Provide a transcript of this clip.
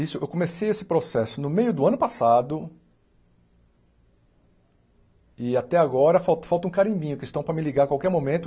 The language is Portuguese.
Isso eu comecei esse processo no meio do ano passado e até agora falta falta um carimbinho, que estão para me ligar a qualquer momento.